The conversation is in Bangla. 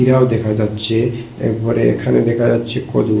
খিরাও দেখা যাচ্ছে একবারে এখানে দেখা যাচ্ছে কদু।